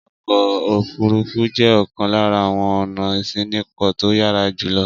Ọkọ̀-òfurufú jẹ́ ọ̀kan lára àwọn ọ̀nà ìṣínípò tó yára jù lọ.